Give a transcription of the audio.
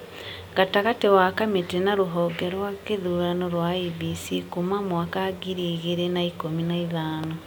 gatagatĩ wa kamĩtĩ na rũhonge rwa gĩthurano rwa IEBC kuuma mwaka ngiri igĩrĩ na ikũmi na ithano.